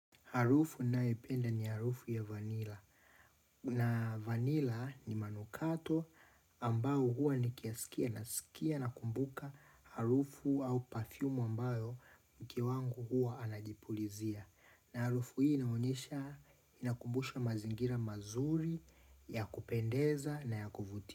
Harufu naependa ni harufu ya vanila. Na vanila ni manukato ambao huwa ni kiasikia nakumbuka harufu au perrfumu ambayo mke wangu huwa anajipulizia. Na harufu hii inaonyesha inakumbusha mazingira mazuri ya kupendeza na ya kufutia.